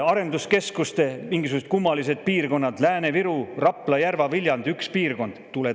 Arenduskeskuste mingisugused kummalised piirkonnad: Lääne-Viru, Rapla, Järva, Viljandi – üks piirkond!